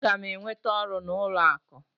Aga m enweta ọrụ n'ụlọ akụ?